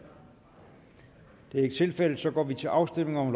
det er ikke tilfældet så går vi til afstemning